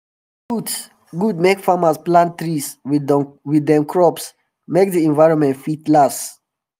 e good good make farmers plant trees with dem crops make d environment fit last